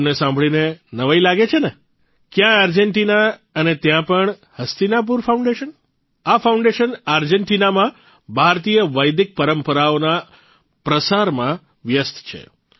તમને સાંભળીને નવાઇ લાગે છે ને ક્યાં આર્જેન્ટીના અને ત્યાં પણ હસ્તિનાપુર ફાઉન્ડેશન આ ફાઉન્ડેશન આર્જેન્ટીનામાં ભારતીય વૈદિક પરંપરાઓના પ્રસારમાં વ્યસ્ત છે